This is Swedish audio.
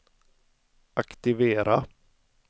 aktivera